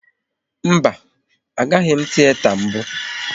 Mba, a gabeghi m tiyeta mbụ